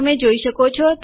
તમે જોઈ શકો છો